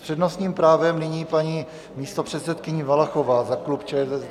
S přednostním právem nyní paní místopředsedkyně Valachová za klub ČSSD.